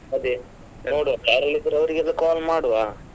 ಅದೇ ಯಾರೆಲ್ಲಾ ಇದಾರೆ ಅವ್ರಿಗೆ ಎಲ್ಲ call ಮಾಡುವಾ.